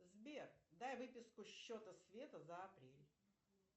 сбер дай выписку счета света за апрель